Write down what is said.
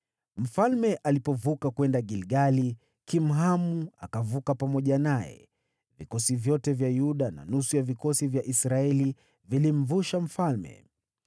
Mfalme alipovuka kwenda Gilgali, Kimhamu akavuka pamoja naye. Vikosi vyote vya Yuda na nusu ya vikosi vya Israeli vilimvusha mfalme.